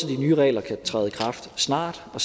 de nye regler kan træde i kraft snart og